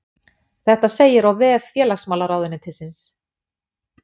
Þetta segir á vef félagsmálaráðuneytisins